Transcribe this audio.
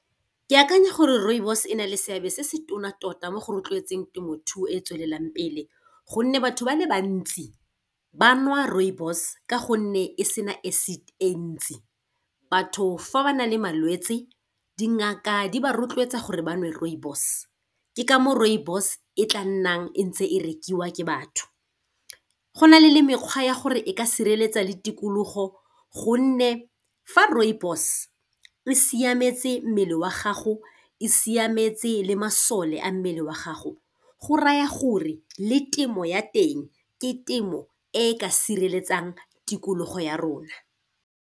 Ke akanya gore rooibos e na le seabe se se tona tota mo go rotloetseng temothuo e e tswelelang pele, gonne batho ba le bantsi ba nwa rooibos ka gonne e sena acid e ntsi. Batho fa ba na le malwetsi dingaka di ba rotloetsa gore ba nwe rooibos ke ka moo rooibos e tla nnang e ntse e rekiwa ke batho. Go na le le mekgwa ya gore e ka sireletsa le tikologo, gonne fa rooibos e siametse mmele wa gago e siametse le masole a mmele wa gago go raya gore le temo ya teng ke temo e ka sireletsang tikologo ya rona.